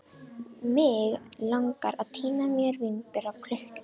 Mig langar að tína mér vínber af klukkunni.